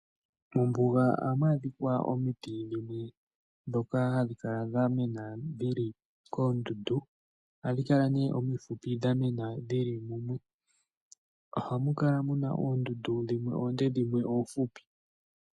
Mombuga ohamu adhika omiti dhimwe dhoka hadhi kala dha mena dhili koondudu, ohadhi kala nee omifupi dha mena dhili mumwe. Ohamu kala muna oondudu dhimwe oonde dhimwe oofupi.